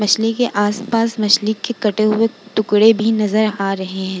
मछली के आस-पास मछली के कटे हुए टुकड़े भी नजर आ रहे हैं।